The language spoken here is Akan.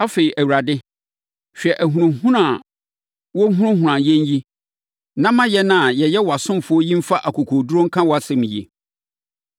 Afei, Awurade, hwɛ ahunahuna a wɔrehunahuna yɛn yi na ma yɛn a yɛyɛ wʼasomfoɔ yi mfa akokoɔduru nka wʼasɛm yi.